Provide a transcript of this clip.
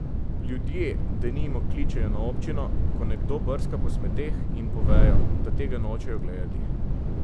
Ljudje, denimo, kličejo na občino, ko nekdo brska po smeteh, in povejo, da tega nočejo gledati.